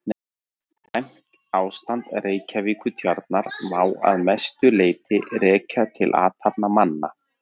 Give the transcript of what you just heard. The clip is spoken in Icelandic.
Slæmt ástand Reykjavíkurtjarnar má að langmestu leyti rekja til athafna manna.